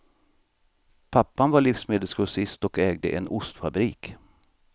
Pappan var livsmedelsgrossist och ägde en ostfabrik.